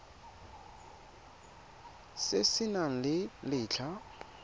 se se nang le letlha